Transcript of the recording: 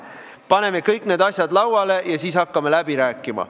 Paneme kõik need asjad lauale ja siis hakkame läbi rääkima.